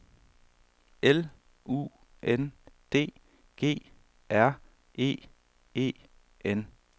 L U N D G R E E N